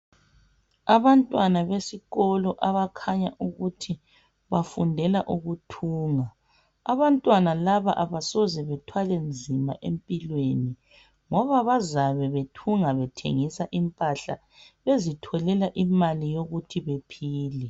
Abantwana besikolo abakhanya ukuthi bafundela ukuthunga abantwana laba abasoze bethwale nzima empilweni ngoba bazabe bethunga bethengisa impahla bezitholela imali yokuthi bephile.